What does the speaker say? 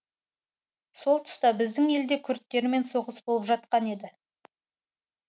сол тұста біздің елде күрдтермен соғыс болып жатқан еді